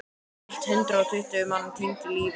Eitt hundrað og tuttugu manns týndu lífi.